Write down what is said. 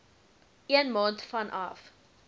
een maand vanaf